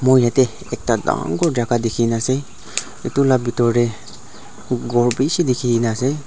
mui yatey ekta dangor jagah dikhina ase itu la bitor tey ghor bishi dikhikena ase.